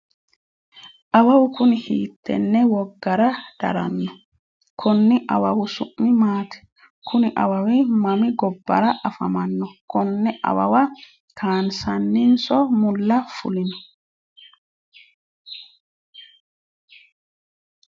awawu kuni hiittenne woggara daranno? konni awawi su'mi maati? kuni awawi mami gobbara afamanno? konn awawa kaanseennanso mulla fulino ?